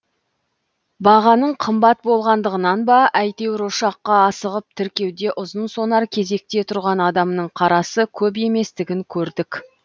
бағаның қымбат болғандығынан ба әйтеуір ұшаққа асығып тіркеуде ұзынсонар кезекте тұрған адамның қарасы көп еместігін көрдік